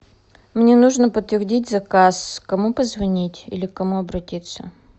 мне нужно подтвердить заказ кому позвонить или к кому обратиться